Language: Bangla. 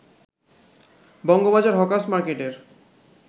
বঙ্গবাজার হকার্স মার্কেটের